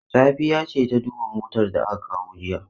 Safiya ce ta duba motar da aka kawo jiya?